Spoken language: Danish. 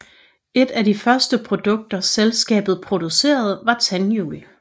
Et af de første produkter selskabet producerede var tandhjul